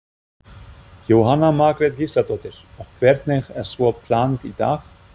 Jóhanna Margrét Gísladóttir: Og hvernig er svo planið í dag?